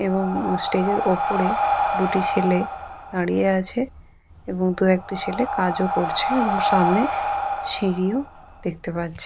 এবং এ-স্টেজের ওপরে দুটি ছেলে দাঁড়িয়ে আছে এবং দু একটি ছেলে কাজ ও করছে এবং সামনে সিঁড়ি ও দেখতে পাচ্ছি।